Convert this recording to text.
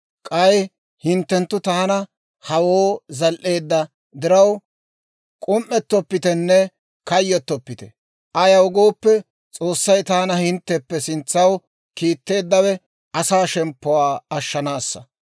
K'ay hinttenttu taana hawoo zal"eedda diraw, k'um"ettopitenne kayyotoppite; ayaw gooppe, S'oossay taana hintteppe sintsaw kiitteeddawe asaa shemppuwaa ashshanaassa.